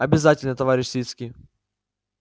обязательно товарищ свицкий